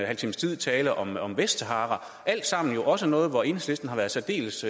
halv times tid tale om om vestsahara alt sammen også noget hvor enhedslisten har været særdeles